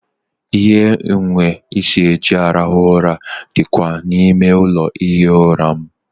Ihe nhiwe isi eji arahụ ụra dịkwa n'ime ụlọ ihi ụra m.